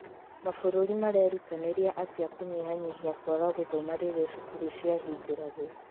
Mabũrũri marerutanĩria atĩa kũnyihanyihia kwaga gũthoma rĩrĩa cukuru ciahingũragwo?